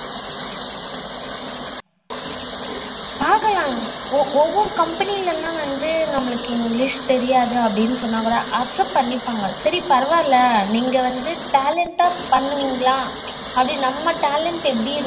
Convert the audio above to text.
ஆகலாம் ஒவ்வொரு company வந்து நம்மளுக்கு english தெரியாதா அப்படினு சொன்னா கூட accept பண்ணிபாங்க சரி பாரவாயில்ல நீங்க வந்து talent ஆ பண்ணுவீங்களா ஆ அப்டின்னு நம்ம talent எப்படி இருக்கு